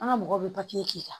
An ka mɔgɔw bɛ k'i la